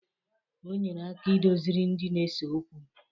Onyere aka idozịri ndị na-ese okwu.